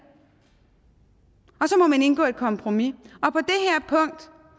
og så må man indgå et kompromis